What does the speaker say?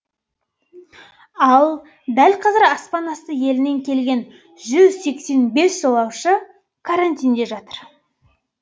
ал дәл қазір аспан асты елінен келген жүз сексен бес жолаушы карантинде жатыр